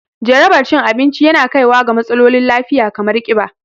Jaraba cin abinci yana kaiwa ga matsalolin lafiya kamar ƙiba